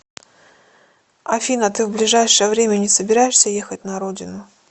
афина ты в ближайшее время не собираешься ехать на родину